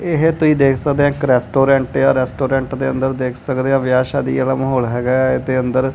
ਇਹ ਤੁਸੀਂ ਦੇਖ ਸਕਦੇ ਹ ਕਰੈਸਟੋਰੈਂਟ ਆ ਰੈਸਟੋਰੈਂਟ ਦੇ ਅੰਦਰ ਦੇਖ ਸਕਦੇ ਆ ਵਿਆਹ ਸ਼ਾਦੀ ਵਾਲਾ ਮਾਹੌਲ ਹੈਗਾ ਇਹਦੇ ਅੰਦਰ--